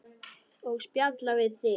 Og spjalla við þig.